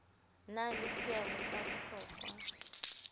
na le seabo sa bohlokwa